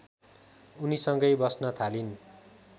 उनीसँगै बस्न थालिन्